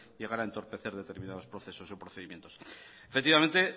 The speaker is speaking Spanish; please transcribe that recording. llegar a entorpecer determinados procesos o procedimientos efectivamente